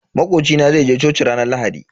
Makoci na zai je coci ranar Lahadi.